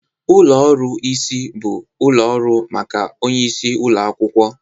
Ụlọ ọrụ isi bụ ụlọ ọrụ maka onye isi ụlọ akwụkwọ